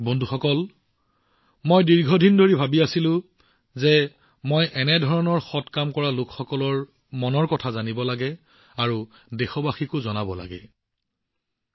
বন্ধুসকল মই দীৰ্ঘদিন ধৰি এনে মহৎ কাৰ্য্য কৰা লোকসকলৰ মন কী বাতক জানিবলৈ আৰু দেশবাসীৰ সৈতেভাগবতৰা কৰাৰ আকাংক্ষা কৰিছিলো